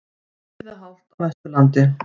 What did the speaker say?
Víða hált á Vesturlandi